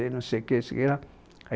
Aí não sei o quê, não sei o quê lá